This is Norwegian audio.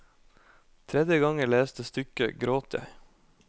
Tredje gang jeg leste stykket, gråt jeg.